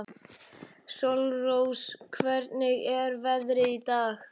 Sólrós, hvernig er veðrið í dag?